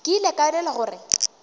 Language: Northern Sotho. ke ile ka elelwa gore